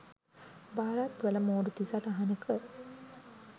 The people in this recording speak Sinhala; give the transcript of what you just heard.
භාරත්වල මූර්ති සටහනක